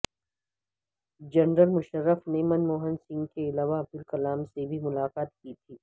general Musharraf نے منموہن سنگھ کے علاوہ عبدالکلام سے بھی ملاقات کی تھی